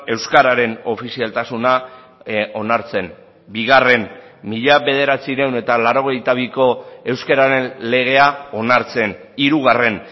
euskararen ofizialtasuna onartzen bigarren mila bederatziehun eta laurogeita biko euskararen legea onartzen hirugarren